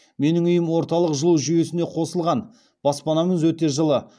менің үйім орталық жылу жүйесіне қосылған баспанамыз өте жылы